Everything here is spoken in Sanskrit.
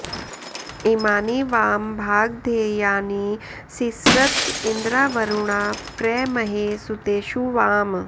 इमानि वां भागधेयानि सिस्रत इन्द्रावरुणा प्र महे सुतेषु वाम्